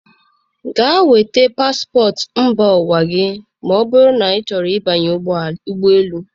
Gaa nweta paspọtụ mba ụwa gị ma ọ bụrụ na ịchọrọ ịbanye n'ụgbọelu.